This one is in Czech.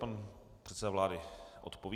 Pan předseda vlády odpoví.